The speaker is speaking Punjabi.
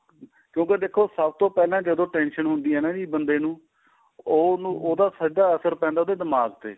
ਕਿਉਂਕਿ ਦੇਖੋ ਸਭ ਤੋਂ ਪਹਿਲਾਂ tension ਹੁੰਦੀ ਏ ਹਨਾ ਬੰਦੇ ਨੂੰ ਉਹ ਉਹਦਾ ਸਿੱਧਾ ਅਸਰ ਪੈਂਦਾ ਉਹਦੇ ਦਿਮਾਗ਼ ਤੇ